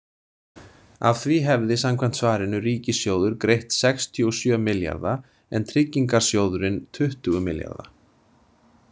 Af því hefði, samkvæmt svarinu, ríkissjóður greitt sextíu og sjö milljarða en Tryggingarsjóðurinn tuttugu milljarða.